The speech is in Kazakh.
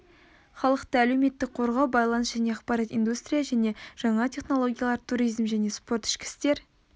халықты әлеуметтік қорғау байланыс және ақпарат индустрия және жаңа технологиялар туризм және спорт ішкі істер